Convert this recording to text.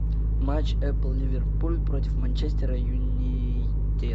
матч апл ливерпуль против манчестера юнайтед